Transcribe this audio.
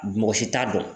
Mɔgɔ si t'a dɔn